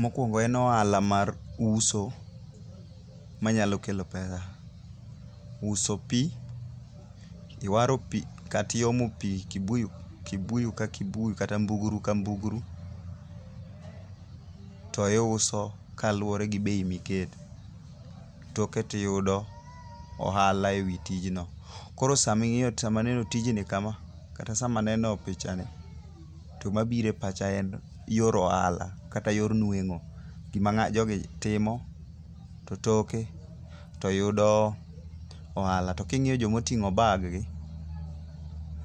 Mokwongo en ohala mar uso manyalo kelo pesa. Uso pi ,iwaro pi kata iomo pi, kibuyu ka kibuyu kata mbuguru ka mbuguru, to iuso kaluore gi bei miketo, toke tiyudo ohala e wi tijno. Koro sama aneno tijni kama kata sama neno pichani, to mabiro e pacha ne yor ohala kata yor nweng'o. Gima jogi timo to toke to yudo ohala. To king'iyo joma oting'o baggi,